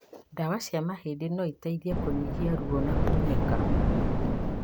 Ndawa cia mahindi noiteithie kũnyihia ruo na kunĩka